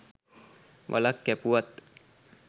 වළක් කැපුවත්